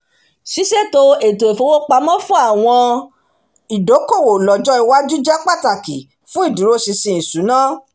ṣíṣètò ètò ifowópamọ́ fún àwọn ìdókòwò lọ́jọ́ iwaju jẹ́ pàtàkì fún ìdúróṣinṣin ìṣúná